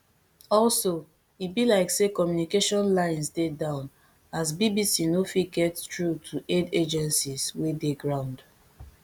also e be like say communication lines dey down as bbc no fit get through to aid agencies wey dey ground